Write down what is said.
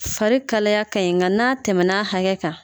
Fari kalaya ka ɲi nka n'a tɛmɛn'a hakɛ kan.